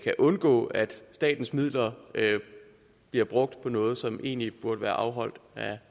kan undgås at statens midler bliver brugt på noget som egentlig burde være afholdt af